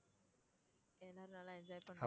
எல்லாரும் நல்லா enjoy பண்ணோம்.